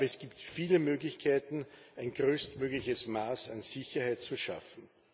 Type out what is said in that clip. Aber es gibt viele Möglichkeiten, ein größtmögliches Maß an Sicherheit zu schaffen.